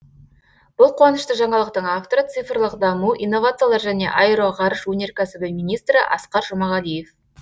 бұл қуанышты жаңалықтың авторы цифрлық даму инновациялар және аэроғарыш өнеркәсібі министрі асқар жұмағалиев